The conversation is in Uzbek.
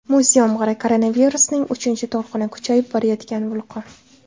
Muz yomg‘iri, koronavirusning uchinchi to‘lqini, kuchayib borayotgan vulqon.